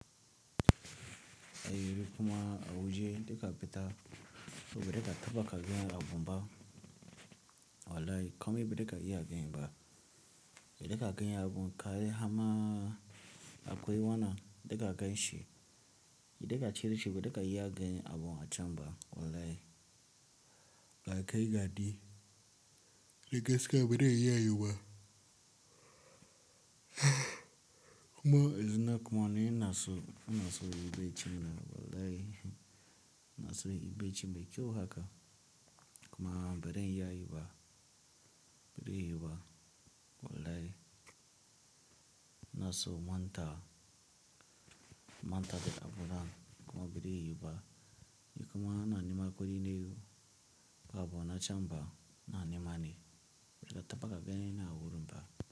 Eh kuma awu je da ka fita, to ba da ka taɓa ka ga abun ba. Wallahi kamai ba da ka iya ganin ba. Da ka gani abun ka yi hama akwai wanan da ka ganshi. Da ka cire shi ba da ka iya ganin abun a can ba. Wallahi ga kai ga di. Da gaskiya bare iya yu ba. Kuma zina kuma ni ina so, ina so yi bacci na wallahi, ina so yi bacci mai kyau haka. Kuma bari in iya yi ba, bare yuwu ba, wallahi. Ina so manta, manta da abun nan kuma bare yuwu ba. Ni kuma ina nema kuɗi ne abu na can ba, ina nema ne. Baza ka taɓa ka gani na a wurin hudu ba.